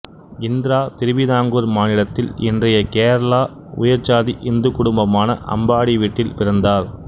இந்திரா திருவிதாங்கூர் மாநிலத்தில் இன்றைய கேரளா உயர் சாதி இந்துக் குடும்பமான அம்பாடி வீட்டில் பிறந்தார்